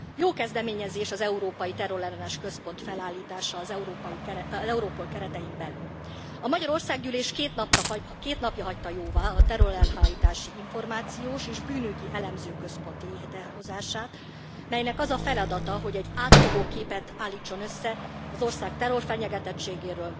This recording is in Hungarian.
Jó kezdeményezés az Európai Terrorellenes Központ felállítása az Europol keretein belül. A magyar Országgyűlés két napja hagyta jóvá a Terrorelhárítási Információs és Bűnügyi Elemző Központ létrehozását, melynek az a feladata, hogy egy átfogó képet állítson össze az ország terrorfenyegetettségéről,